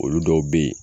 Olu dɔw bɛ ye